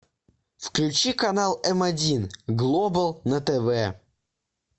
включи канал м один глобал на тв